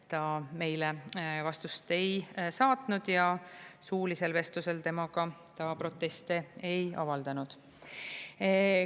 Ta meile vastust ei saatnud ja suulisel vestlusel temaga ta proteste ei avaldanud.